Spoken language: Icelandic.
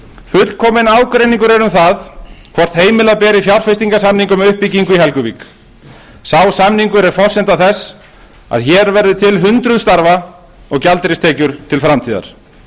fullkominn ágreiningur er um það hvort heimila beri fjárfestingasamningum við uppbyggingu í helguvík sá samningur er forsenda þess að hér verði til hundruð starfa og gjaldeyristekjur til framtíðar